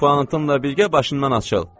Puantın elə bil, birgə başından açıldı.